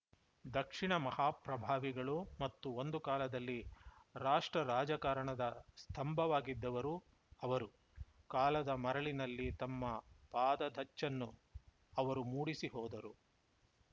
ದಕ್ಷಿಣದ ಮಹಾಪ್ರಭಾವಿಗಳು ಮತ್ತು ಒಂದು ಕಾಲದಲ್ಲಿ ರಾಷ್ಟ್ರ ರಾಜಕಾರಣದ ಸ್ತಂಭವಾಗಿದ್ದವರು ಅವರು ಕಾಲದ ಮರಳಿನಲ್ಲಿ ತಮ್ಮ ಪಾದದಚ್ಚನ್ನು ಅವರು ಮೂಡಿಸಿ ಹೋದರು